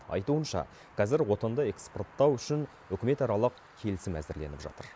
айтуынша қазір отынды экспорттау үшін үкіметаралық келісім әзірленіп жатыр